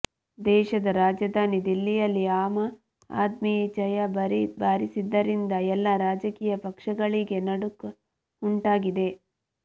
ದೇಶದ ರಾಜ್ಯಧಾನಿ ದಿಲ್ಲಿಯಲ್ಲಿ ಆಮ ಆದ್ಮಿ ಜಯ ಭರೀ ಭಾರಿಸಿದ್ದರಿಂದ ಎಲ್ಲ ರಾಜಕೀಯ ಪಕ್ಷಗಳಿಗೆ ನಡುಕ ಉಂಟಾಗಿದೆ